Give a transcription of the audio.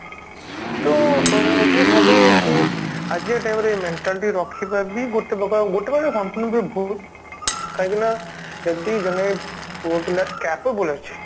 so ମୁଁ ଭାବେ କି ଆଜିକା time ରେ ଏଇ mentality ରଖିବା ବି ଗୋଟେ ପ୍ରକାର ଗୋଟେ ପ୍ରକାର କଣ ସମ୍ପୂର୍ଣ ଭାବେ ଭୁଲ କାହିଁକି ନା ଯଦି ଜଣେ ପୁଅ ପିଲା capable ଅଛି